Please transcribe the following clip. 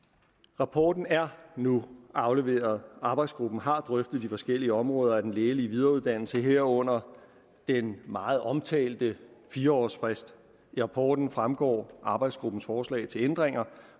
rapporten er nu afleveret arbejdsgruppen har drøftet de forskellige områder af den lægelige videreuddannelse herunder den meget omtalte fire årsfrist af rapporten fremgår arbejdsgruppens forslag til ændringer